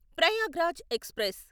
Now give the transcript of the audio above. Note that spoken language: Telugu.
ప్రయాగ్రాజ్ ఎక్స్ప్రెస్